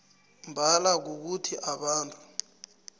mbala kukuthi abantu